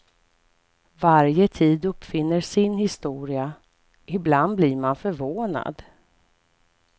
Varje tid uppfinner sin historia, ibland blir man förvånad.